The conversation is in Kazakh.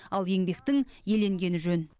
ал еңбектің еленгені жөн